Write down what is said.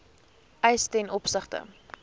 eis ten opsigte